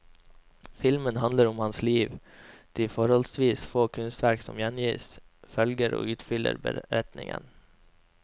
Filmen handler om hans liv, de forholdsvis få kunstverk som gjengis, følger og utfyller beretningen.